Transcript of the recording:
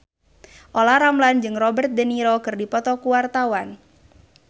Olla Ramlan jeung Robert de Niro keur dipoto ku wartawan